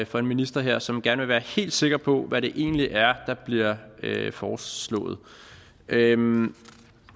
for en minister her som gerne vil være helt sikker på hvad det egentlig er der bliver foreslået